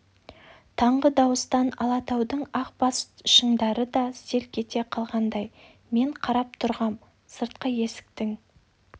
таңғы дауыстан алатаудың ақ бас шыңдары да селк ете қалғандай мен қарап тұрғам сыртқы есіктің